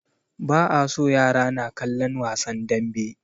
Ba a so yara na kallan wasan danbe